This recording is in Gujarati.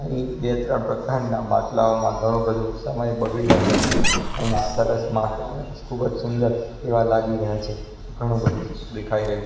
આહી બે ત્રણ પ્રકારના માટલાઓમાં ઘણું બધું સમય બગડી રહ્યો છે અહીં સરસ માટલા ખૂબ જ સુંદર એવા લાગી રહ્યા છે ઘણું બધું દેખાઈ રહ્યું--